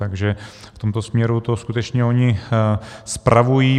Takže v tomto směru to skutečně oni spravují.